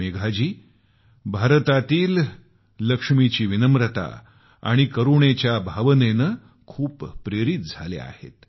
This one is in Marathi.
मेघाजी या भारतातील लक्ष्मीची विनम्रता आणि करुणेच्या भावनेने खूप प्रेरित झाल्या आहेत